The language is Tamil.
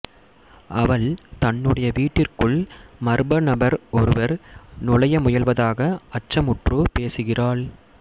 அவள் தன்னுடைய வீட்டிற்குள் மர்ம நபர் ஒருவர் நுழைய முயல்வதாக அச்சமுற்று பேசுகிறாள்